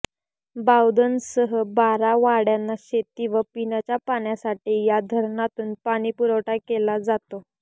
बावधनसह बारा वाड्यांना शेती व पिण्याच्या पाण्यासाठी या धरणातून पाणीपुरवठा केला जातो